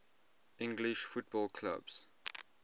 english football clubs